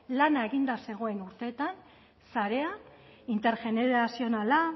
lana eginda zegoen urteetan sarea intergenerazionala